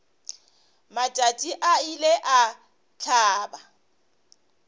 matšatši a ile a hlaba